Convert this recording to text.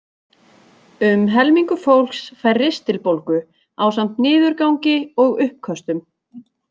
Um helmingur fólks fær ristilbólgu ásamt niðurgangi og uppköstum.